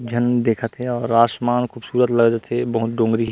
झन देखत हे और आसमान खूबसूरत लगत हे बहुत डोंगरी--